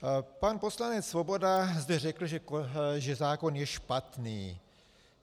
Pan poslanec Svoboda zde řekl, že zákon je špatný.